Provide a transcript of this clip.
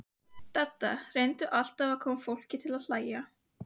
Dadda reyndi alltaf að koma fólki til að hlæja.